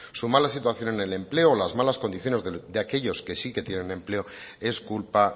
su mala situación en el empleo o las malas condiciones de aquellos que sí tienen empleo es culpa